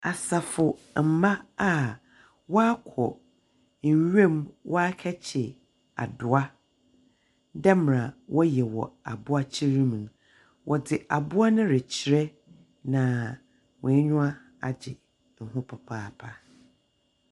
Asafomba a wɔakɔ nwira mu wɔakɛkyer adowa dɛm mmerɛ wɔyɛ wɔ Aboakyer mu no. Wɔdze aboa no rekyerɛ, na hɔn enyiwa gye ho papaapa.